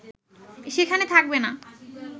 সেখানে থাকবে না